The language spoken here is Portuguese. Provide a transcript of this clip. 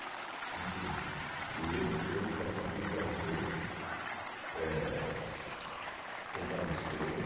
Muito lindo. E eu vou deixar o convite para vocês, é comparecer.